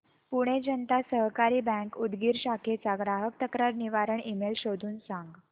पुणे जनता सहकारी बँक उदगीर शाखेचा ग्राहक तक्रार निवारण ईमेल शोधून सांग